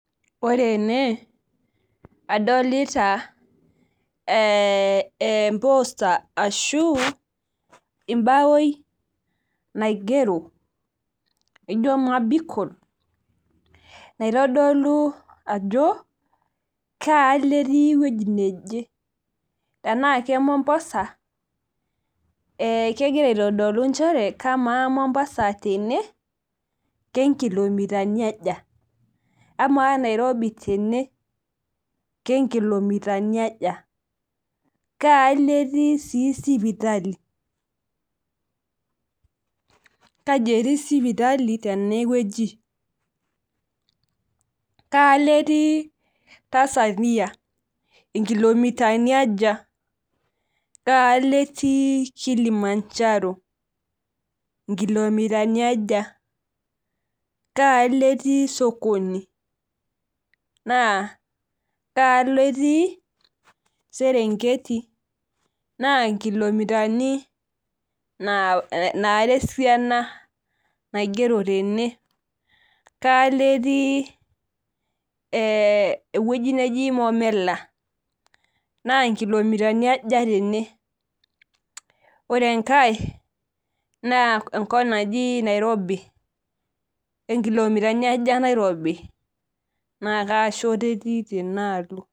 Ore ene, adolita emposta ashu ibawoi naigero, ijo mabikol, naitodolu ajo kaalo etii ewei neje. Tenaa ke Mombasa, kegira aitodolu njere, kamaa Mombasa tene, kenkilomitani aja? Amaa Nairobi tene, kenkilomitani aja? Kaalo etii si sipitali? Kaji etii sipitali tenewueji? Kaalo etii Tanzania? Inkilomitani aja? Kaalo etii Kilimanjaro? Inkilomitani aja? Kaalo etii sokoni, naa kaalo etii, Serengeti, naa nkilomitani nara esiana naigero tene. Kaalo etii ewueji neji Momela? Na nkilomitani aja tene? Ore enkae, naa enkop naji Nairobi. Nkilomitani aja Nairobi, naa kaashoto etii tenaalo?